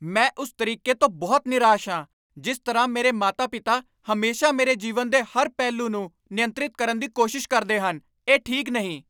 ਮੈਂ ਉਸ ਤਰੀਕੇ ਤੋਂ ਬਹੁਤ ਨਿਰਾਸ਼ ਹਾਂ ਜਿਸ ਤਰ੍ਹਾਂ ਮੇਰੇ ਮਾਤਾ ਪਿਤਾ ਹਮੇਸ਼ਾ ਮੇਰੇ ਜੀਵਨ ਦੇ ਹਰ ਪਹਿਲੂ ਨੂੰ ਨਿਯੰਤਰਿਤ ਕਰਨ ਦੀ ਕੋਸ਼ਿਸ਼ ਕਰਦੇ ਹਨ ਇਹ ਠੀਕ ਨਹੀ